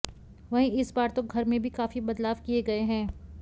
वहीं इस बार तो घर में भी काफी बदलाव किए गए हैं